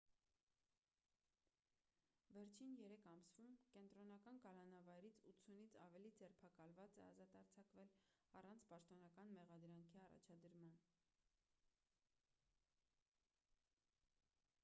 վերջին 3 ամսում կենտրոնական կալանավայրից 80-ից ավելի ձերբակալված է ազատ արձակվել առանց պաշտոնական մեղադրանքի առաջադրման